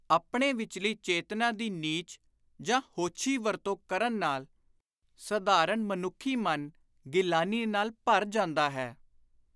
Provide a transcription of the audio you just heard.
ਆਪਣੇ ਵਿਚਲੀ ਚੇਤਨਾ ਦੀ ਨੀਚ ਜਾਂ ਹੋਛੀ ਵਰਤੋਂ ਕਰਨ ਨਾਲ ਸਾਧਾਰਣ ਮਨੁੱਖੀ ਮਨ ਗਿਲਾਨੀ ਨਾਲ ਭਰ ਜਾਂਦਾ ਹੈ।